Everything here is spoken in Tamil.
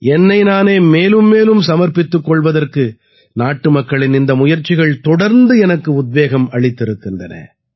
என்னை நானே மேலும் மேலும் சமர்ப்பித்துக் கொள்வதற்கு நாட்டுமக்களின் இந்த முயற்சிகள் தொடர்ந்து எனக்கு உத்வேகம் அளித்திருக்கின்றன